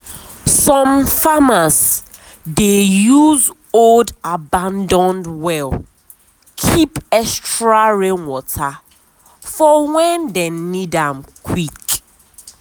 some farmers dey use old abandoned well keep extra rain water for when dem need am quick.